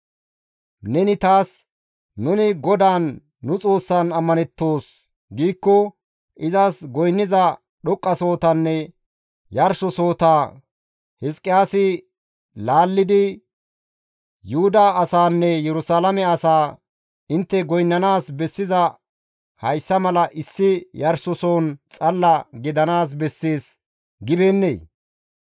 «Neni taas, ‹Nuni GODAAN, nu Xoossan ammanettoos› giikko, izas goynniza dhoqqasohotanne yarshosohota Hizqiyaasi laallidi Yuhuda asaanne Yerusalaame asaa, ‹Intte goynnanaas bessizay hayssa mala issi yarshoson xalla gidanaas bessees› gibeennee?